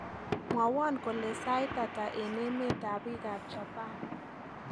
Mwawon kole sait hata eng emetab biikap chapan